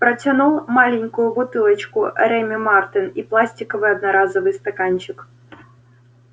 протянул маленькую бутылочку реми мартен и пластиковый одноразовый стаканчик